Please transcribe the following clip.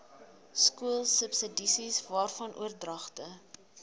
skoolsubsidies waarvan oordragte